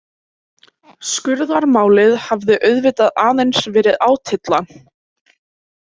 Skurðarmálið hafði auðvitað aðeins verið átylla.